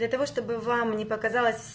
для того чтобы вам не показалось